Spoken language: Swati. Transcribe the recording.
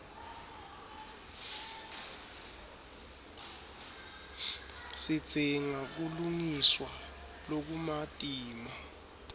sidzinga kulungiswa lokumatima